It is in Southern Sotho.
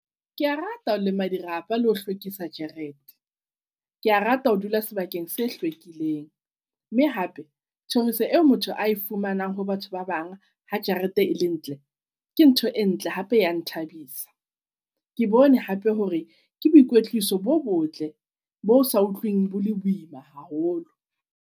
Ke a rata ho lema dirapa le ho hlwekisa jarete. Kea rata ho dula sebakeng se hlwekileng mme hape thoriso eo motho a e fumanang ho batho ba bang ha jarete e le ntle, ke ntho e ntle hape ya nthabisa. Ke bone hape hore ke boikwetliso bo botle bosa utlwing bo le boima haholo.